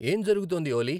ఏం జరుగుతోంది ఓలీ